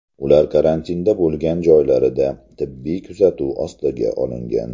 Ular karantinda bo‘lgan joylarida tibbiy kuzatuv ostiga olingan.